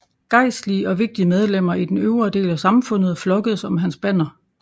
Gejstlige og vigtige medlemmer i den øvre del af samfundet flokkedes om hans banner